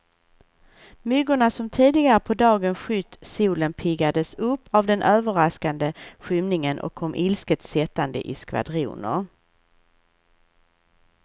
Myggorna som tidigare på dagen skytt solen, piggades upp av den överraskande skymningen och kom ilsket sättande i skvadroner.